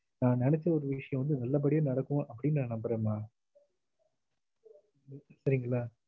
நா நெனச்ச ஒரு விஷயம் வந்து நல்ல படியா நடக்கும் அப்டின்னு ந நம்புறே மா சரிங்களா